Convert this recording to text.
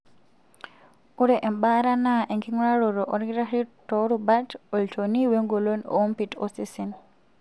Ore embaata na enking'uraroto olkitari toorubat, olchoni, wengolon oompit osesen.